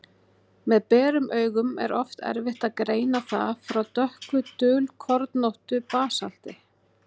Með berum augum er oft erfitt að greina það frá dökku, dulkornóttu basalti.